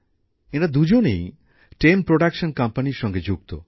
এঁরা দুজনেই TEM production কোম্পানীর সঙ্গে যুক্ত